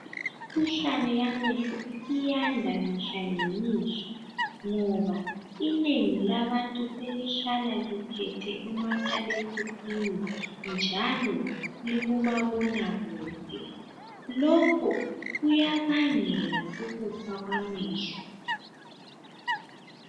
Imkhuhlane yamehlo isiyanda nengi labantu selihlala lithwele umakhalekhukhwini njalo likulomabonakude. Lokhu kuyabangela ukufa kwamehlo.